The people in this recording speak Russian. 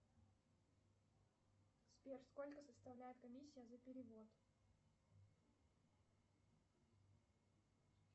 сбер сколько составляет комиссия за перевод